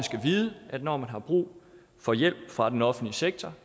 skal vide at når man har brug for hjælp fra den offentlige sektor